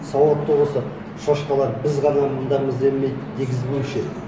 сауатты болса шошқалар біз ғана мындамыз демейді дегізбеуші еді